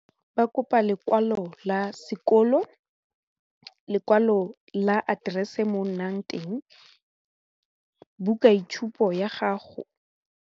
Ba kopa lekwalo la sekolo, lekwalo la aterese mo o nnang teng, buka itshupo ya gago.